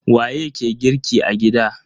Waye ke girki a gida?